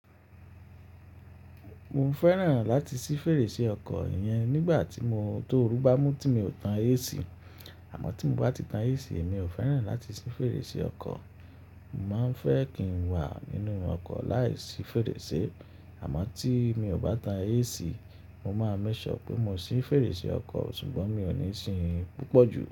Mo fẹ́ràn láti sí fèrèsé ọkọ̀ yẹn nígbà tó orú bá mú tí mi ò tan AC, àmọ́ tí mo bá ti tan AC mi ò fẹ́ràn láti sí fèrèsé ọkọ̀. Mo máa ń fẹ́ kí n wà nínú ọkọ̀ láìsí fèrèsé, àmọ́ tí mi ò bá tan AC mo máa make sure pé mo sí fèrèsé ọkọ̀, ṣùgbọ́n mi ò níí sin pupo jù.